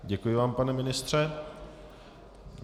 Děkuji vám, pane ministře.